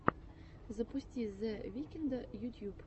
запусти зе викнда ютьюб